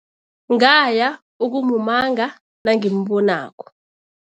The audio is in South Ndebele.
Ngaya ukumumanga nangimbonako.